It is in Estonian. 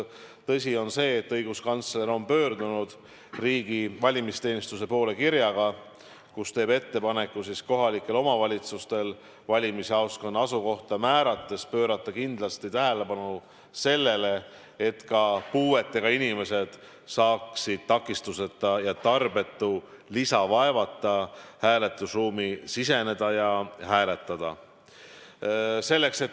Tõsi on see, et õiguskantsler on pöördunud riigi valimisteenistuse poole kirjaga, kus teeb ettepaneku kohalikele omavalitsustele valimisjaoskonna asukohta määrates pöörata kindlasti tähelepanu sellele, et ka puudega inimesed saaksid takistuseta ja tarbetu lisavaevata hääletusruumi siseneda ja seal hääletada.